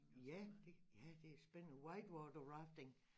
Ja det ja det er spændende white water rafting